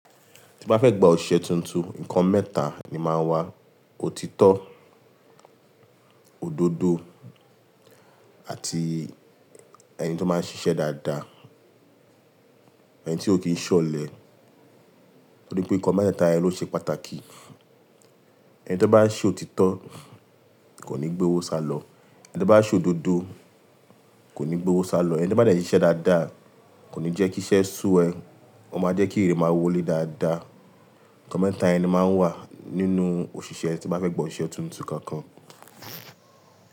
Tí gbá fẹ́ gbà òṣìṣẹ́ tuntun, ǹkan mẹ́ta ni máa ń wà. Otitọ́, òdodo àti ẹni tí ó máa ń ṣiṣẹ́ dáadáa, ẹni tí ò kí ń ṣọ̀lẹ. Nítorí pé ǹkan mẹ́ta ẹ ló ṣe pàtàkì. Ẹni tí ó bá ṣé otitọ́ kò ní gbé owó sálọ, ẹni tí ó bá ṣé òdodo kò ní gbé owó sálọ, ẹni tí ó bá nì ṣe iṣẹ́ dáadáa kò ní jẹ́ kí iṣẹ́ sú ẹ, ó máa jẹ́ kí èrè máa wọlé dáadáa. Ǹkan mẹ́ta ẹni máa ń wà nínú òṣìṣẹ́ tí wọ́n bá fẹ́ gbọ́ òṣìṣẹ́ tuntun kankan.